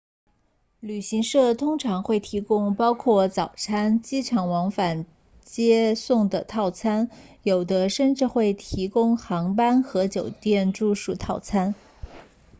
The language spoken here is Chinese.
旅行社通常会提供包括早餐机场往返接送的套餐有的甚至会提供航班和酒店住宿套餐